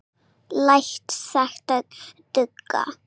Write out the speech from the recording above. Læt þetta duga.